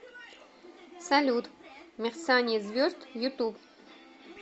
салют мерцание звезд ютуб